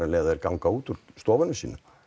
leið og þeir ganga út úr stofunum sínum